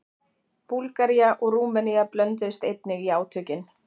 Búlgaría og Rúmenía blönduðust einnig í átökin.